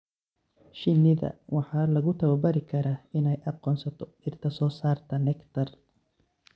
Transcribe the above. Shinida waxaa lagu tababari karaa inay aqoonsato dhirta soo saarta nectar.